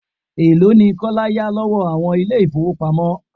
Elo ni Kọ́lá yá lọ́wọ́ àwọn ilé ifowopamo?